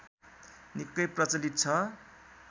निक्कै प्रचलित छ